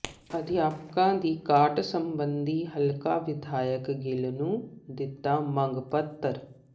ਅਧਿਆਪਕਾਂ ਦੀ ਘਾਟ ਸਬੰਧੀ ਹਲਕਾ ਵਿਧਾਇਕ ਗਿੱਲ ਨੂੰ ਦਿੱਤਾ ਮੰਗ ਪੱਤਰ